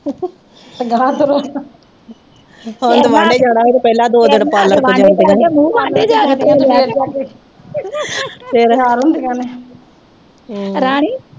ਹੁਣ ਤੇ ਵਾਡੇ ਜਾਣਾ ਹੋਵੇ ਤੇ ਪਹਿਲਾ ਦੋ ਦਿਨ ਪਾਰਲਰ ਤੇ ਜਾਂਦੀਆਂ ਨੇ ਫਿਰ ਤਿਆਰ ਹੁੰਦੀਆਂ ਨੇ